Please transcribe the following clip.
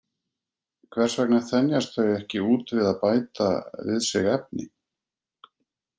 Hvers vegna þenjast þau ekki út við að bæta við sig efni?